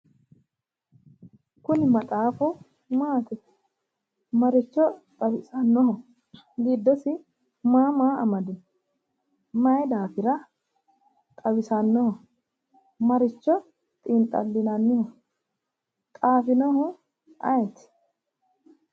Kuni maxaafu maati? Maricho xawisannoho? Giddosi maa maa amadino? Maayi daafira xawisannoho? maricho xiinxallinanniho? xaafinohu ayeeti?